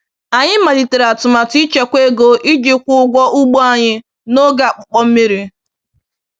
Anyị malitere atụmatụ ịchekwa ego iji kwụọ ụgwọ ugbo anyị n’oge akpụkpọ mmir